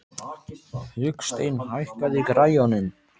Hauksteinn, hækkaðu í græjunum.